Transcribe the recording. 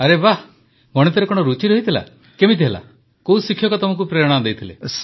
ଆରେ ବାଃ ତ ଗଣିତରେ କଣ ରୁଚି ଥିଲା କିପରି ହେଲା କୋଉ ଶିକ୍ଷକ ତମକୁ ପ୍ରେରଣା ଦେଇଥିଲେ